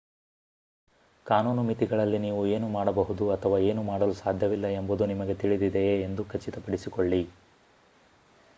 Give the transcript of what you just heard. ಕಾನೂನು ಮಿತಿಗಳಲ್ಲಿ ನೀವು ಏನು ಮಾಡಬಹುದು ಅಥವಾ ಏನು ಮಾಡಲು ಸಾಧ್ಯವಿಲ್ಲ ಎಂಬುದು ನಿಮಗೆ ತಿಳಿದಿದೆಯೆ ಎಂದು ಖಚಿತಪಡಿಸಿಕೊಳ್ಳಿ